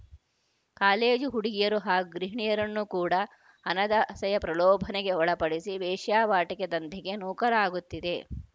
college ಹುಡುಗಿಯರು ಹಾಗೂ ಗೃಹಿಣಿಯರನ್ನು ಕೂಡ ಹಣದಾಸೆಯ ಪ್ರಲೋಭನೆಗೆ ಒಳಪಡಿಸಿ ವೇಶ್ಯಾವಾಟಿಕೆ ದಂಧೆಗೆ ನೂಕಲಾಗುತ್ತಿದೆ